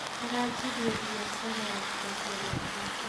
aranjirie biacara ya kwendia matumbĩ